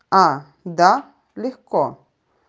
а да легко